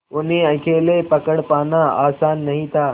उन्हें अकेले पकड़ पाना आसान नहीं था